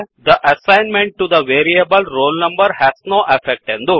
the assignment to the variable roll number has no effect